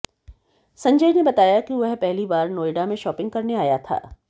संजय ने बताया कि वह पहली बार नोएडा में शॉपिंग करने आया था